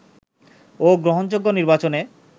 ও গ্রহণযোগ্য নির্বাচনে